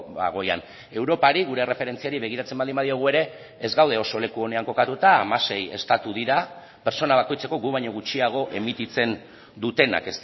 bagoian europari gure erreferentziari begiratzen baldin badiogu ere ez gaude oso leku onean kokatuta hamasei estatu dira pertsona bakoitzeko gu baino gutxiago emititzen dutenak